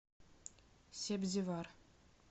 себзевар